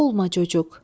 Olma çocuq.